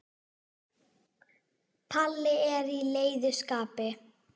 Palli er í leiðu skapi.